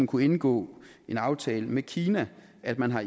kunne indgå en aftale med kina at man har